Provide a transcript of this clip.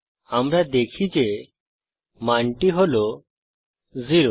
আমরা দেখি যে মানটি হল 0